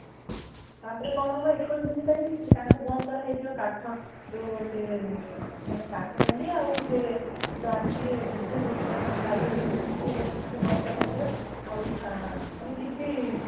ତା ପରେ କଣ ହେବ ଏକୋଇଶ ଦିନ ପାଇଁ ତାଙ୍କୁ ବନ୍ଦ କରା ହେଇ ଯିବ |କାଠ ଜଉ ସେ ମାନେ କାଠଗଣ୍ଡି ଆଉ ସେ ଜେ ଆସିଥିବେ ବୃଦ୍ଧ ବ୍ୟକ୍ତି ଜଣକ କାରିଗରୀ ତାଙ୍କୁ ଗୋଟେ ରୁମ ରେ ବନ୍ଦ କର ହେଇ ଯିବ | ଆଉ ମାନେ କିଛି